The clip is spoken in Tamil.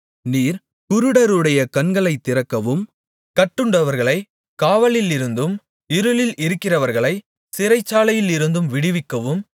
நீர் குருடருடைய கண்களைத் திறக்கவும் கட்டுண்டவர்களைக் காவலிலிருந்தும் இருளில் இருக்கிறவர்களைச் சிறைச்சாலையிலிருந்தும் விடுவிக்கவும்